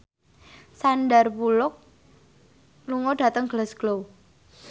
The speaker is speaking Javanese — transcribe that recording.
Sandar Bullock lunga dhateng Glasgow